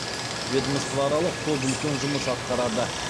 ведомствоаралық топ үлкен жұмыс атқарады